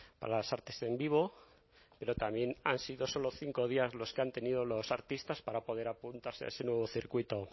para las artes en vivo pero también han sido solo cinco días los que han tenido los artistas para poder apuntarse a ese nuevo circuito